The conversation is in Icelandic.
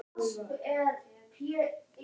Ætlar hann að fara að túlka sig sem Bandaríkjamann?